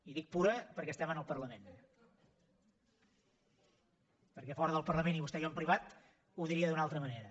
i dic pura perquè estem en el parlament perquè a fora del parlament i vostè i jo en privat ho diria d’una altra manera